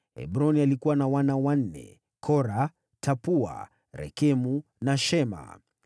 Hebroni alikuwa na wana wanne: Kora, Tapua, Rekemu na Shema.